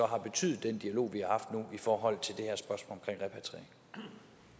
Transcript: har betydet i forhold til